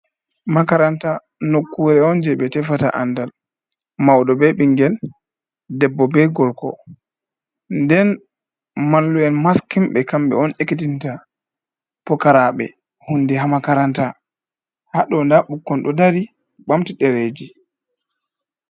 Makaranta nokkure on je ɓe tefata andal maudo be ɓingel debbo be gorko, nden mallu'en maskinbe kambe on ekitinta pokaraɓe hunde ha makaranta, ha do nda ɓukkon do dari bamti dereji.